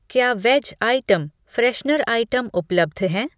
क्या veg item, freshener item उपलब्ध हैं?